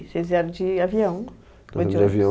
Vocês vieram de avião? Foi de avião